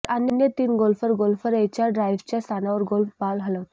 तर अन्य तीन गोल्फर गोल्फर एच्या ड्राईव्हच्या स्थानावर गोल्फ बॉल हलवतात